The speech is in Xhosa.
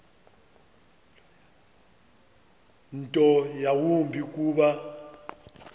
nto yawumbi kuba